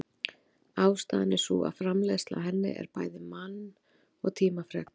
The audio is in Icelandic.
Ástæðan er sú að framleiðsla á henni en bæði mann- og tímafrek.